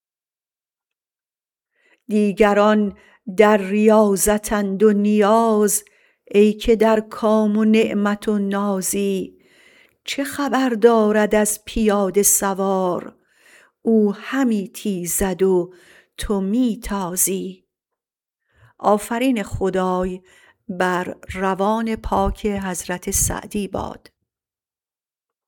دیگران در ریاضتند و نیاز ای که در کام نعمت و نازی چه خبر دارد از پیاده سوار او همی تیزد و تو می تازی